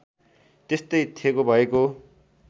त्यस्तै थेगो भएको